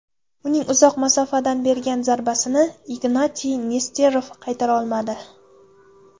Uning uzoq masofadan bergan zarbasini Ignatiy Nesterov qaytara olmadi.